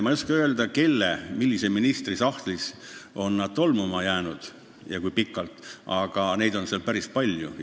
Ma ei oska öelda, millise ministri või kellegi muu sahtlis on need tolmuma jäänud ja kui kaua need seal seisnud on, aga neid on seal päris palju.